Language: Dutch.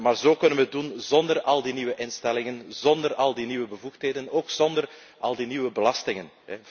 Op die manier kunnen we het doen zonder al die nieuwe instellingen, zonder al die nieuwe bevoegdheden en ook zonder al die nieuwe belastingen.